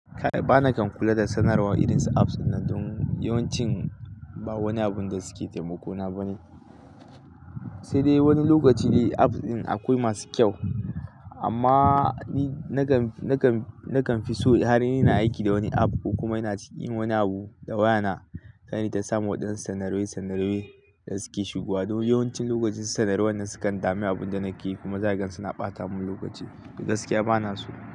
Ba na kan kula da sanarwa irin su apps ɗin nan don yawancin ba woni abun da suke taimako na bane. Sai dai woni lokaci dai apps din akoi masu kyau amma ni nakan, nakan, nakan fi so har ina aiki da woni app ko kuma ina cikin yin woni abu da waya na kar inyi ta samu waɗansu sanarwe sanarwe da suke shigowa. Don yawancin lokacin sanarwe nan sukan dame abun da nake yi kuma zakaga suna ɓata mun lokaci. To gaskiya bana so.